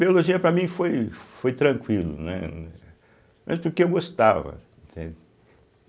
Biologia, para mim, foi foi tranquilo, né, eh mas porque eu gostava, entende.